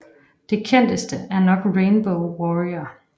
Det kendteste er nok Rainbow Warrior